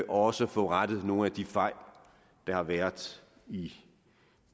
også få rettet nogle af de fejl der har været i